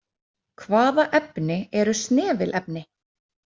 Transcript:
Hvaða efni eru snefilefni?